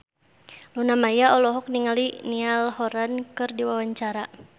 Luna Maya olohok ningali Niall Horran keur diwawancara